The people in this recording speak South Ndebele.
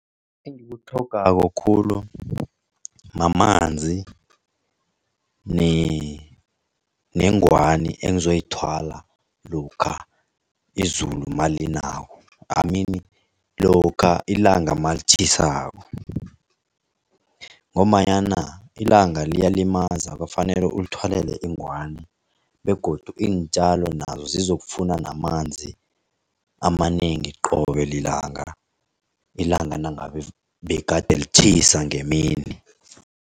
Engikutlhogako khulu mamanzi nengwani engizoyithwala lokha izulu nalinako I mean lokha ilanga malitjhisako. Ngombanyana ilanga liyalimaza kufanele ulithwalele ingwani begodu iintjalo nazo zizokufuna namanzi amanengi qobe lilanga, ilanga nangabe begade litjhisa ngemini.